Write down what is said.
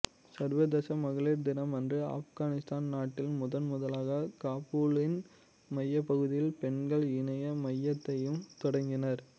சர்வதேச மகளிர் தினம்அன்று ஆப்கானித்தான் நாட்டில் முதன் முதலாகப் காபூலின் மையப்பகுதியில் பெண்கள் இணைய மையத்தையும் தொடங்கினர்